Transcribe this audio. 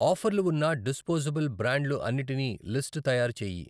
ఆఫర్లు ఉన్న డిస్పోజబుల్ బ్రాండ్లు అన్నిటివి లిస్టు తయారు చేయి.